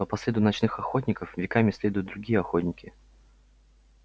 но по следу ночных охотников веками следуют другие охотники